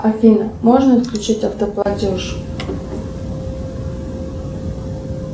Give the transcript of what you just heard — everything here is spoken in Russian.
афина можно отключить автоплатеж